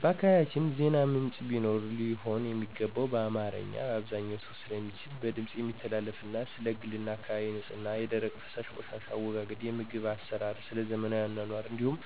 በአካባቢያቸን ዜና ምንጭ ቢኖር ሊሆን የሚገባው በአማርኛ(አብዛኛው ሰው ስለሚችል) በድምፅ የሚተላለፍና ስለ ግልና አካባቢ ንፅህና፣ የደረቅና ፈሳሽ ቆሻሻ አወጋገድ፣ የምግብ አሰራርና ስለዘመናዊ አኗኗር እንዲሁም